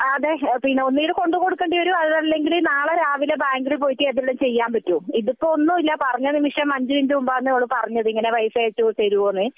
അതെ ഒന്നുകിൽ കൊണ്ടുപോയി കൊടുക്കേണ്ടി വരും അല്ലെങ്കിൽ നാളെ രാവിലെ ബാങ്കിൽ പോയിട്ട് എന്തെങ്കിലും ചെയ്യാൻ പറ്റൂ ഇത് ഇപ്പൊ ഒന്നുല്ല പറഞ്ഞ നിമിഷം ഇപ്പം അഞ്ചു മിനിട്ടു മുൻപാണ് പറഞ്ഞത് ഇങ്ങനെ പൈസ അയച്ചു തരുമോ എന്നത്